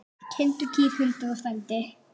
Kindur, kýr, hundar og frændi.